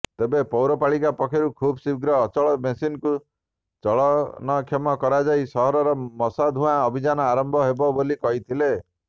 ତେବେ ପୌରପାଳିକା ପକ୍ଷରୁ ଖୀବ୍ଶୀଘ୍ର ଅଚଳ ମେସିନ୍କୁ ଚଳନକ୍ଷମ କରାଯାଇ ସହରରେ ମଶାଧୁଆଁ ଅଭିଯାନ ଆରମ୍ଭ ହେବ ବୋଲି କହିଥିଲେ